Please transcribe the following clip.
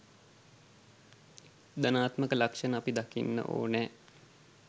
ධනාත්මක ලක්ෂණ අපි දකින්නඕනෑ.